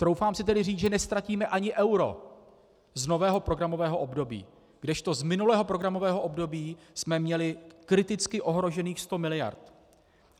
Troufám si tedy říct, že neztratíme ani euro z nového programového období, kdežto z minulého programového období jsme měli kriticky ohrožených 100 mld.